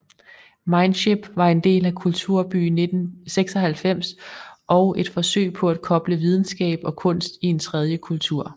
Mindship var en del af Kulturby 96 og et forsøg på at koble videnskab og kunst i en tredje kultur